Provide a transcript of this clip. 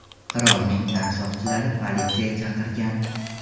Qirolning tan soqchilari politsiya chaqirgan.